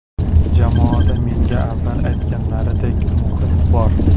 Jamoada menga avval aytganlaridek muhit bor.